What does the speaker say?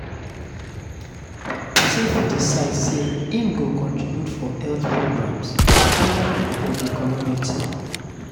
persin fit decide say im go contribute for health programmes um for di community